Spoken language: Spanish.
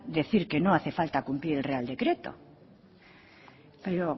decir que no hace falta cumplir el real decreto pero